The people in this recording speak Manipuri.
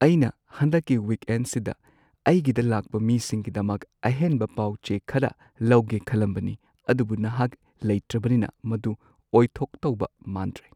ꯑꯩꯅ ꯍꯟꯗꯛꯀꯤ ꯋꯤꯛꯑꯦꯟꯁꯤꯗ ꯑꯩꯒꯤꯗ ꯂꯥꯛꯄ ꯃꯤꯁꯤꯡꯒꯤꯗꯃꯛ ꯑꯍꯦꯟꯕ ꯄꯥꯎ-ꯆꯦ ꯈꯔ ꯂꯧꯒꯦ ꯈꯜꯂꯝꯕꯅꯤ ꯑꯗꯨꯕꯨ ꯅꯍꯥꯛ ꯂꯩꯇ꯭ꯔꯕꯅꯤꯅ ꯃꯗꯨ ꯑꯣꯏꯊꯣꯛꯇꯧꯕ ꯃꯥꯟꯗ꯭ꯔꯦ꯫